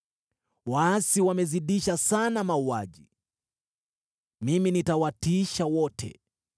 Waasi wamezidisha sana mauaji. Mimi nitawatiisha wote.